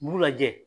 Mugu lajɛ